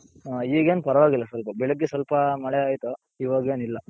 ಈಗೇನು ಪರವಾಗಿಲ್ಲ ಸ್ವಲ್ಪ ಬೆಳೆಗ್ಗೆ ಸ್ವಲ್ಪ ಮಳೆ ಆಯ್ತು ಇವಗೇನಿಲ್ಲ.